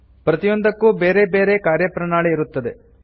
ಪ್ರತಿಯೊಂದಕ್ಕು ಬೇರೆ ಬೇರೆ ಕಾರ್ಯಪ್ರಣಾಳಿ ಇರುತ್ತದೆ